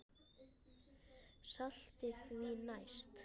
Saltið því næst.